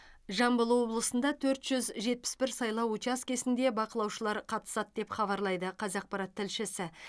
жамбыл облысында төрт жүз жетпіс бір сайлау учаскесінде бақылаушылар қатысады деп хабарлайды қазақпарат тілшісі